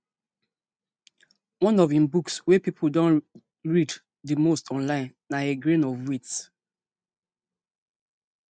one of im books wey pipo don read di most online na a grain of wheat